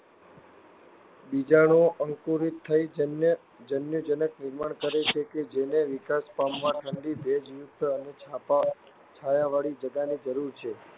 બીજાણુઓ અંકુરિત થઈ જન્યુજનક નિર્માણ કરે છે કે જેને વિકાસ પામવા ઠંડી, ભેજયુક્ત અને છાયાવાળી જગાની જરૂર છે.